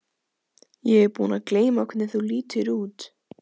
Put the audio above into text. Ég er búin að gleyma hvernig þú lítur út.